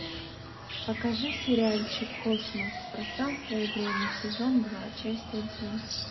покажи сериальчик космос пространство и время сезон два часть один